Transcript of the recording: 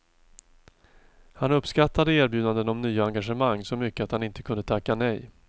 Han uppskattade erbjudanden om nya engagemang så mycket att han inte kunde tacka nej.